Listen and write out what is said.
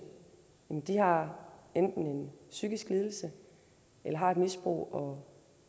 enten har en psykisk lidelse eller har et misbrug og